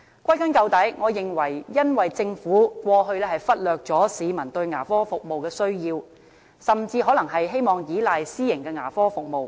歸根究底，我認為因為政府過去忽略了市民對牙科服務的需要，甚至可能是希望依賴私營牙科服務。